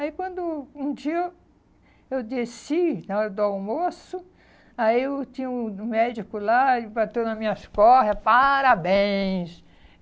Aí, quando um dia eu desci, na hora do almoço, aí eu tinha um médico lá, ele bateu nas minhas costas, parabéns.